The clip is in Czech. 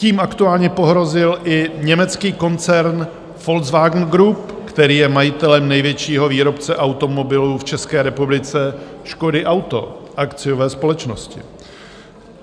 Tím aktuálně pohrozil i německý koncern Volkswagen Group, který je majitelem největšího výrobce automobilů v České republice Škody auto, akciové společnosti.